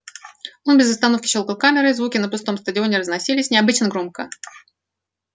он без остановки щёлкал камерой звуки на пустом стадионе разносились необычно громко